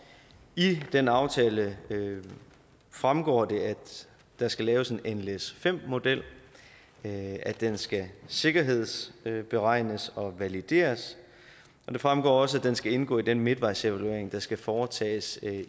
i den aftale fremgår det at der skal laves en nles5 model at den skal sikkerhedsberegnes og valideres og det fremgår også at den skal indgå i den midtvejsevaluering der skal foretages